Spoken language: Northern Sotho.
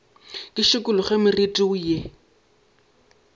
ke šikologe moriti wo ye